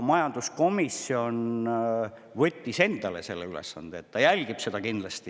Majanduskomisjon võttis endale ülesandeks seda kindlasti jälgida.